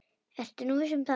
Ertu nú viss um það?